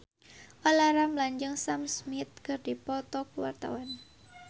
Olla Ramlan jeung Sam Smith keur dipoto ku wartawan